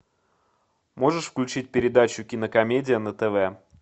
можешь включить передачу кинокомедия на тв